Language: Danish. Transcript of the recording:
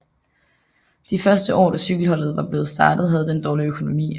De første år da cykelholdet var blevet startet havde det en dårlig økonomi